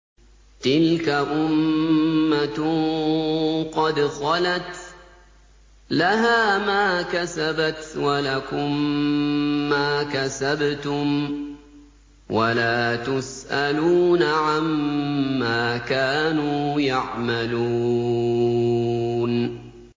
تِلْكَ أُمَّةٌ قَدْ خَلَتْ ۖ لَهَا مَا كَسَبَتْ وَلَكُم مَّا كَسَبْتُمْ ۖ وَلَا تُسْأَلُونَ عَمَّا كَانُوا يَعْمَلُونَ